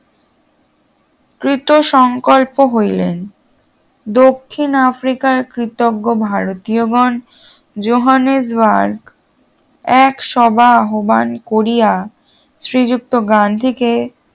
কৃত সংকল্প হইলেন দক্ষিণ আফ্রিকার কৃতজ্ঞ ভারতীয়গণ জোহানসবার্গ এক সভা আহ্বান করিয়া শ্রীযুক্ত গান্ধীকে